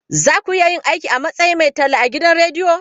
Za ku iya yin aiki a matsayin mai talla a gidan rediyo?